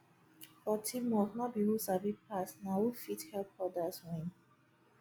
for teamwork no be who sabi pass na who fit help others win